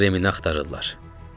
Onlar Remini axtarırlar.